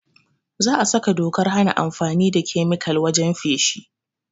Za a saka dokar hana amfani da kemikal wajen feshi